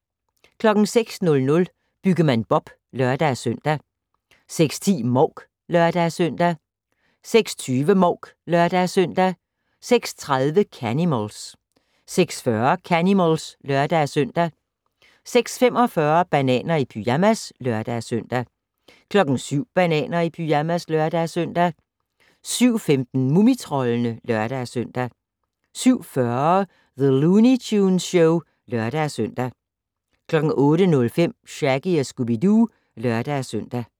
06:00: Byggemand Bob (lør-søn) 06:10: Mouk (lør-søn) 06:20: Mouk (lør-søn) 06:30: Canimals 06:40: Canimals (lør-søn) 06:45: Bananer i pyjamas (lør-søn) 07:00: Bananer i pyjamas (lør-søn) 07:15: Mumitroldene (lør-søn) 07:40: The Looney Tunes Show (lør-søn) 08:05: Shaggy & Scooby-Doo (lør-søn)